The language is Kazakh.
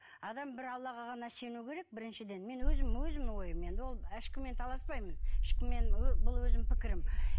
адам бір аллаға ғана сену керек біріншіден мен өзім өзімнің ойым енді ол ешкіммен таласпаймын ещкіммен бұл өзімнің пікірім